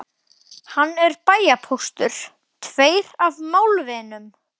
Hann er bæjarpóstur, tveir af málvinum